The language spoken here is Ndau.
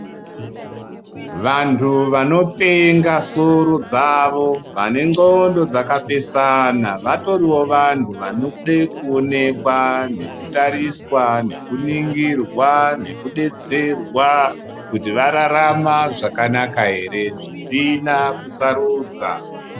Vantu vanopenga soro dzavo vane ndxondo dzakapesana vatoriwo vantu vanoda kuonekwa nekutariswa nekuningirwa nekudetserwa kuti vararama zvakanaka here zvisina kusarudza.